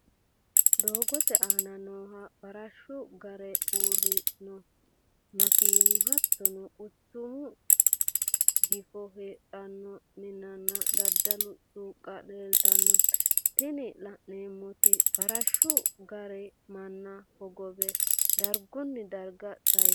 Doogote aana nooha farashu gaare, uure noo makinna hattono quchumu gifo heedhano minanna dadalu suuqa leelitano, tini la'neemoti farashu gaare mana hogobe darigunni dariga sayisano